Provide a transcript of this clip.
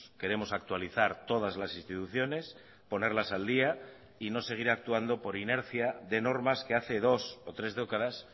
queremos actualizar todas las instituciones ponerlas al día y no seguir actuando por inercia de normas que hace dos o tres décadas